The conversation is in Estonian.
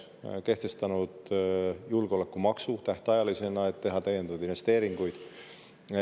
Oleme ka kehtestanud tähtajalisena julgeolekumaksu, et teha täiendavaid investeeringuid.